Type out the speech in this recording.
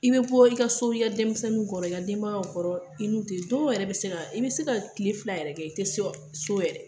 I bɛ bɔ i ka so i ka denmisɛnninw kɔrɔ i ka denbaya kɔrɔ i n'u te dɔw yɛrɛ bɛ i bɛ se ka tile fila yɛrɛ kɛ i tɛ se so yɛrɛ.